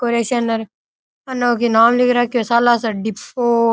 कोरेशन अन ओ की नाम लिख राख्यो है सालासर डिपो।